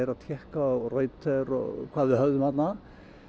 að tékka á Reuters og hvað við höfðum þarna